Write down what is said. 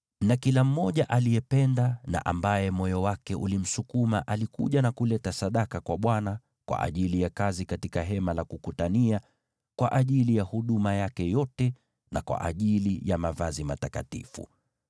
na kila mmoja aliyependa na ambaye moyo wake ulimsukuma alikuja na kuleta sadaka kwa Bwana , kwa ajili ya kazi katika Hema la Kukutania, kwa ajili ya huduma yake yote na kwa ajili ya mavazi matakatifu.